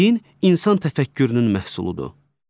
Din insan təfəkkürünün məhsuludur.